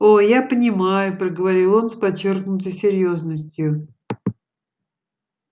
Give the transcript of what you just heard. о я понимаю проговорил он с подчёркнутой серьёзностью